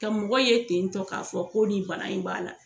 Ka mɔgɔ ye ten tɔ k'a fɔ ko nin bana in b'a la